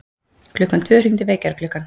Klukkan tvö hringdi vekjaraklukkan.